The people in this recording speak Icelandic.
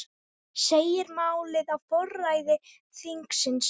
Segir málið á forræði þingsins